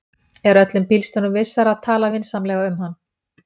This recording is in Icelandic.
er öllum bílstjórum vissara að tala vinsamlega um hann